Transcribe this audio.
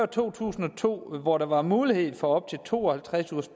to tusind og to hvor der var mulighed for op til to og halvtreds ugers